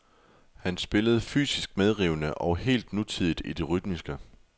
Han spillede fysisk medrivende og helt nutidigt i det rytmiske.